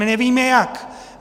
My nevíme jak.